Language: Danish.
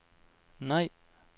nej